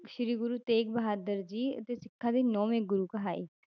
ਸ੍ਰੀ ਗੁਰੂ ਤੇਗ ਬਹਾਦਰ ਜੀ ਅਤੇ ਸਿੱਖਾਂ ਦੇ ਨੋਵੇਂ ਗੁਰੂ ਕਹਾਏ।